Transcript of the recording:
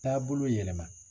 Taabolo yɛlɛma